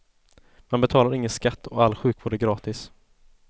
Man betalar ingen skatt och all sjukvård är gratis.